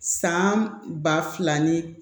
San ba fila ni